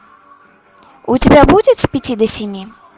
у тебя будет с пяти до семи